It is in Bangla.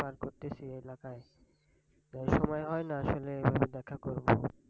করতেছি এলাকায়। তাই সময় হয়না আসলে দেখা করবো।